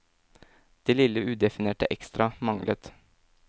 Det lille udefinerte ekstra, manglet.